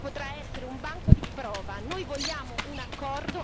Il trattato sul TTIP potrà essere un banco di prova.